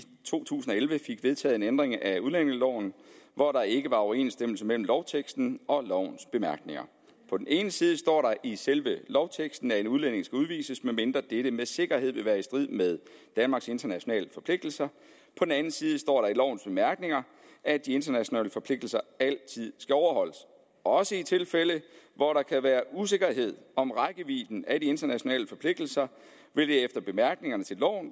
to tusind og elleve fik vedtaget en ændring af udlændingeloven hvor der ikke var overensstemmelse mellem lovteksten og lovens bemærkninger på den ene side står der i selve lovteksten at en udlænding skal udvises medmindre dette med sikkerhed vil være i strid med danmarks internationale forpligtelser på den anden side står der i lovens bemærkninger at de internationale forpligtelser altid skal overholdes også i tilfælde hvor der kan være usikkerhed om rækkevidden af de internationale forpligtelser vil det efter bemærkningerne til loven